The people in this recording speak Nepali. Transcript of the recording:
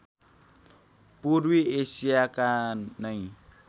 पूर्वी एशियाका नैं